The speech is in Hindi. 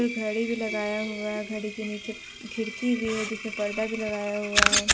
घड़ी भी लगाया हुआ है घड़ी के नीचे खिड़की भी है जिसपे पर्दा भी लगाया हुआ है।